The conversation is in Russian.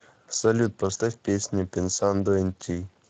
салют поставь песня пенсандо эн ти